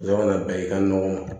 Dɔ kana bɛn i ka nɔgɔ ma